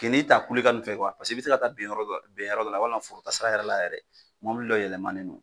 Ke n'i ta kulokan nu fɛ kuwa paseke i be se ka taa ben yɔrɔ dɔ la ben yɔrɔ dɔ la walima foro taa sira yɛrɛ la yɛrɛ mobili dɔ yɛlɛmanen do